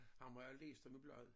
Ham har jeg læst om i bladet